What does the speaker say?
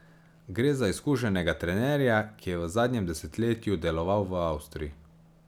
Gre za izkušenega trenerja, ki je v zadnjem desetletju deloval v Avstriji.